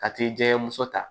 Ka t'i jɛgɛmuso ta